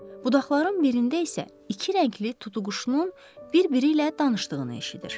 Budaqların birində isə iki rəngli tutuquşunun bir-biri ilə danışdığını eşidir.